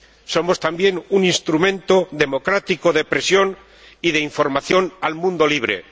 Somos también un instrumento democrático de presión y de información al mundo libre.